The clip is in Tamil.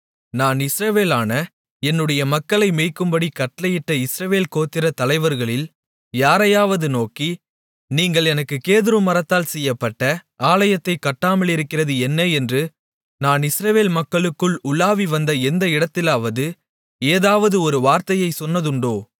நான் இஸ்ரவேலான என்னுடைய மக்களை மேய்க்கும்படி கட்டளையிட்ட இஸ்ரவேல் கோத்திர தலைவர்களில் யாரையாவது நோக்கி நீங்கள் எனக்குக் கேதுரு மரத்தால் செய்யப்பட்ட ஆலயத்தைக் கட்டாமலிருக்கிறது என்ன என்று நான் இஸ்ரவேல் மக்களுக்குள் உலாவி வந்த எந்த இடத்திலாவது ஏதாவது ஒரு வார்த்தையைச் சொன்னதுண்டோ